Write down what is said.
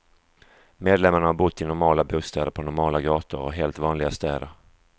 Medlemmarna har bott i normala bostäder på normala gator och helt vanliga städer.